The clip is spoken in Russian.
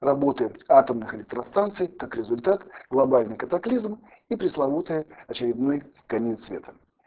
работает атомных электростанций как результат глобальный катаклизм и пресловутая очередной конец света